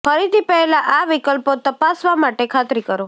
ખરીદી પહેલાં આ વિકલ્પો તપાસવા માટે ખાતરી કરો